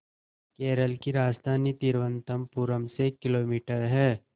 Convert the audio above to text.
केरल की राजधानी तिरुवनंतपुरम से किलोमीटर है